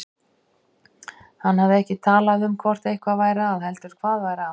Hann hafði ekki talað um hvort eitthvað væri að heldur hvað væri að.